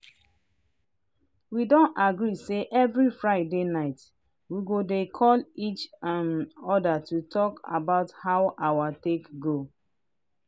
we don agree say every friday night we go dey call each um other to talk about how our take go.